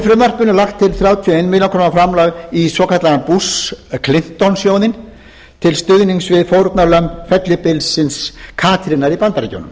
fjáraukalaga lagði meiri hlutinn til að varið yrði átján komma eina milljón króna til stuðnings við fórnarlömb fellibylsins katrínar í bandaríkjunum